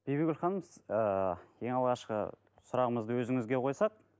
бибігүл ханым ыыы ең алғашқы сұрағымызды өзіңізге қойсақ